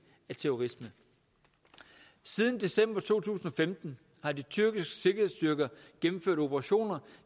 af terrorisme siden december to tusind og femten har de tyrkiske sikkerhedsstyrker gennemført operationer